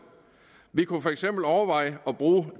vi kunne for eksempel overveje at bruge